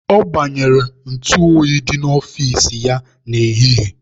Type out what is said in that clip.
Ọ gbanyere ntụ oyi dị n'ọfici ya n'ehihie.